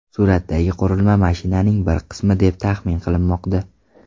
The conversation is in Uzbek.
Suratdagi qurilma mashinaning bir qismi deb taxmin qilinmoqda.